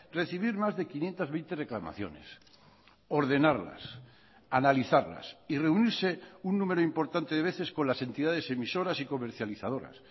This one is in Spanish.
recibir más de quinientos veinte reclamaciones ordenarlas analizarlas y reunirse un número importante de veces con las entidades emisoras y comercializadoras